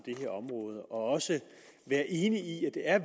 det her område og også være enig i at det er